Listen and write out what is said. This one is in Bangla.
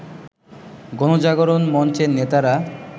গণজাগরণ মঞ্চের নেতারা